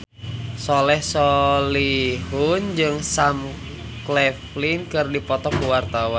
Soleh Solihun jeung Sam Claflin keur dipoto ku wartawan